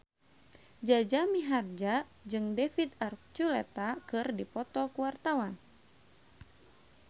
Jaja Mihardja jeung David Archuletta keur dipoto ku wartawan